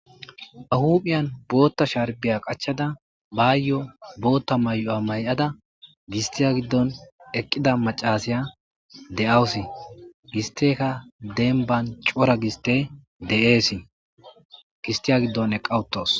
ahuphiyan bootta sharbiya qachada baayyo bootta may7o7a may7ada gistiya giddon eqqida macasiya de7awusi gisteka denban cora giste de7eesi gistiya giddon eqqawutos